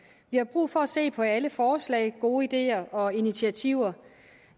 vi har brug for at se på alle forslag gode ideer og initiativer